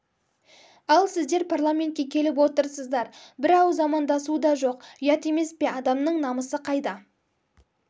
ал сіздер парламентке келіп отырсыздар бір ауыз амандасу дажоқ ұят емес пе адамның намысы қайда